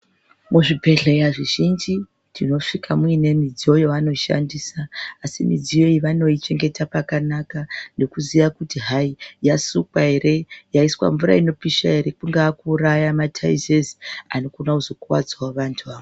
Mu zvibhedhleya zvi zhinji tino svika muine mudziyo yaano shandisa asi midziyo iyi vanoi chengeta pakanaka neku ziya kuti hai yasukwa ere yaiswa mvura inopisha ere kungaaa ku uraya ma taizezi anokona kuzo kwadzavo vantu ava.